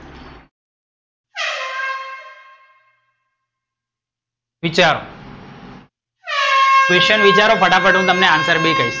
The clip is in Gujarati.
વિચારો. question વિચારો ફટાફટ હું તમને answer બી કહી,